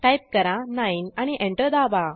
type करा 9 आणि enter दाबा